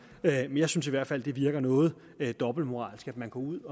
men jeg synes i hvert fald det virker noget dobbeltmoralsk at man går ud